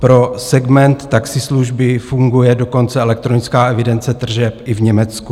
Pro segment taxislužby funguje dokonce elektronická evidence tržeb i v Německu.